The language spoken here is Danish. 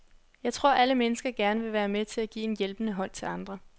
Jeg tror alle mennesker gerne vil være med til at give en hjælpende hånd til andre.